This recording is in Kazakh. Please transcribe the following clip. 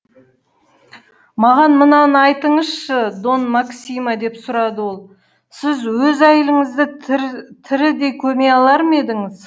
маған мынаны айтыңызшы дон максимо деп сұрады ол сіз өз әйеліңізді тірідей көме алар ма едіңіз